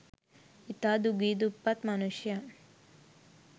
ඉතා දුගී දුප්පත් මනුෂ්‍යයන්